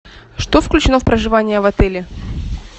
что включено в проживание в отеле